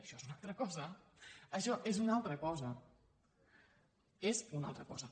això és una altra cosa això és una altra cosa és una altra cosa